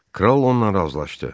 Kral onunla razılaşdı.